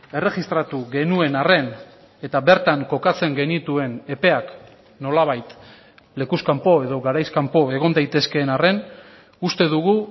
erregistratu genuen arren eta bertan kokatzen genituen epeak nolabait lekuz kanpo edo garaiz kanpo egon daitezkeen arren uste dugu